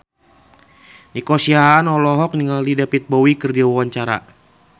Nico Siahaan olohok ningali David Bowie keur diwawancara